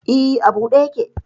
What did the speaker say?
E, a buɗe yake.